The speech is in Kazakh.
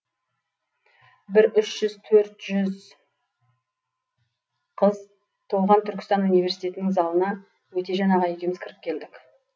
бір үш жүз төрт жүз қыз толған түркістан университетінің залына өтежан аға екеуміз кіріп келдік